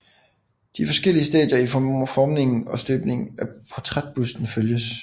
De forskellige stadier i formningen og støbningen af portrætbusten følges